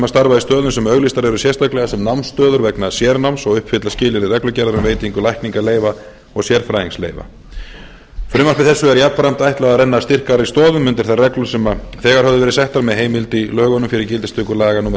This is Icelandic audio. í stöðum sem auglýstar eru sérstaklega sem námsstöður vegna sérnáms og uppfylla skilyrði reglugerðar um veitingu lækningaleyfa og sérfræðingsleyfa frumvarpi þessu er jafnframt ætlað að renna styrkari stoðum undir þær reglur sem þegar höfðu verið settar með heimild í lögunum fyrir gildistöku laga númer